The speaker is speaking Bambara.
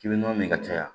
K'i bɛ nɔnɔ min ka caya